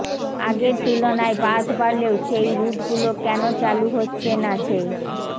আগের তুলনায় বাস বাড়লেও সেই রুটগুলো কেন চালু হচ্ছে না সেই